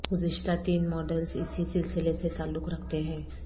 گزشتہ تین ماڈلز اسی سلسلہ سے تعلق رکھتے ہیں